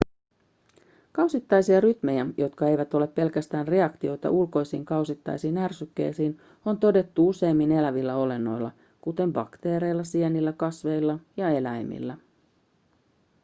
kausittaisia rytmejä jotka eivät ole pelkästään reaktioita ulkoisiin kausittaisiin ärsykkeisiin on todettu useimmilla elävillä olennoilla kuten bakteereilla sienillä kasveilla ja eläimillä